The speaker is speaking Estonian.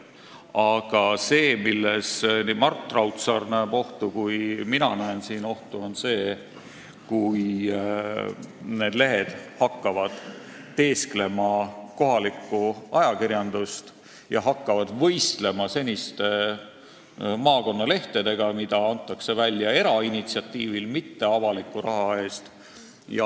Aga see, milles Mart Raudsaar näeb ohtu ja milles ka mina näen ohtu, on see, kui vallalehed hakkavad teesklema kohalikku ajakirjandust ja võistlema seniste maakonnalehtedega, mida antakse välja erainitsiatiivil, mitte avaliku raha eest.